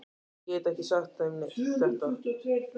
Ég get ekki sagt þeim þetta.